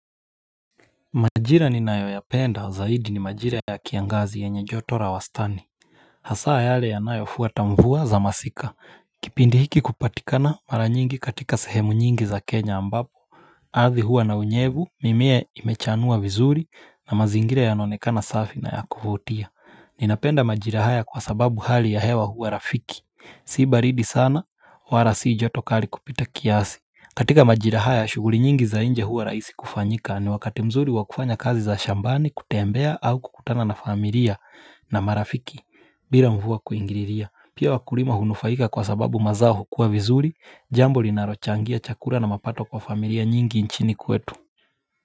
Majira ninayoyapenda zaidi ni majira ya kiangazi yenye joto la wastani. Hasa yale yanayofuata mvua za masika. Kipindi hiki kupatikana mara nyingi katika sehemu nyingi za Kenya ambapo ardhi huwa na unyevu mimea imechanua vizuri na mazingira yanaonekana safi na ya kuvutia. Ninapenda majira haya kwa sababu hali ya hewa huwa rafiki. Si baridi sana wala si joto kali kupita kiasi katika majira haya shughuli nyingi za nje huwa rahisi kufanyika ni wakati mzuri wa kufanya kazi za shambani kutembea au kukutana na familia. Na marafiki bila mvua kuingilia pia wakulima hunufaika kwa sababu mazao hukua vizuri jambo linalochangia chakula na mapato kwa familia nyingi nchini kwetu.